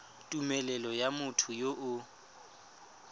tumelelo ya motho yo o